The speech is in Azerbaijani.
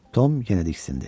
Tom yenə diksindi.